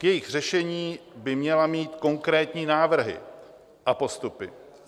K jejich řešení by měla mít konkrétní návrhy a postupy.